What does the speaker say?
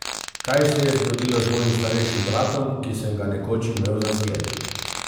Kaj se je zgodilo z mojim starejšim bratom, ki sem ga nekoč imel za zgled?